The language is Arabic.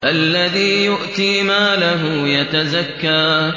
الَّذِي يُؤْتِي مَالَهُ يَتَزَكَّىٰ